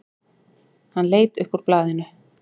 Hann leit upp úr blaðinu.